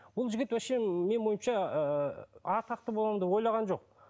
бұл жігіт вообще менің ойымша ыыы атақты боламын деп ойлаған жоқ